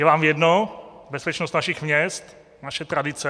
Je vám jedno bezpečnost našich měst, naše tradice?